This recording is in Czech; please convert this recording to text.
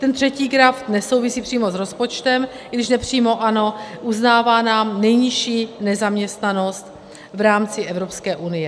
Ten třetí graf nesouvisí přímo s rozpočtem, i když nepřímo ano, uznává nám nejnižší nezaměstnanost v rámci Evropské unie.